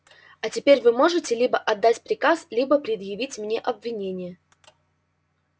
а теперь вы можете либо отдать приказ либо предъявить мне обвинение